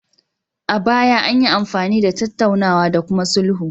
A baya, anyi amfani da tattaunawa da kuma sulhu